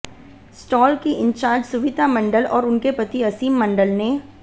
stall की incharge Suvita Mandal और उनके पति असीम मंडल ने